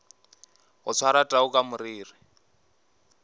go swara tau ka mariri